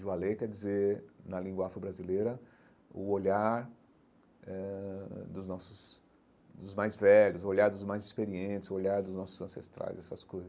Joalê quer dizer, na língua afro-brasileira, o olhar eh dos nossos, dos mais velhos, o olhar dos mais experientes, o olhar dos nossos ancestrais, essas coisas.